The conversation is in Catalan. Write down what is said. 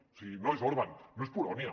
o sigui no és orbán no és polònia